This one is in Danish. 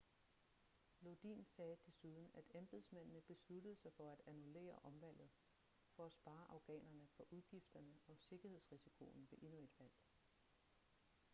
lodin sagde desuden at embedsmændene besluttede sig for at annullere omvalget for at spare afghanerne for udgifterne og sikkerhedsrisikoen ved endnu et valg